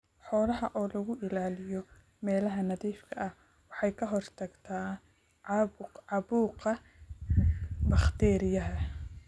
Xoolaha oo lagu ilaaliyo meelaha nadiifka ah waxay ka hortagtaa caabuqa bakteeriyada.